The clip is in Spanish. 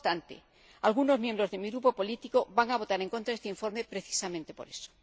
No obstante, algunos miembros de mi grupo político van a votar en contra de este informe precisamente por eso.